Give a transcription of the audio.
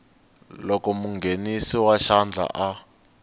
loko munghenisi wa xandla a